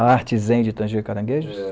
A arte zen de tanger caranguejos? É